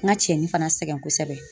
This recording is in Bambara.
N ka cɛnni fana sɛgɛn kosɛbɛ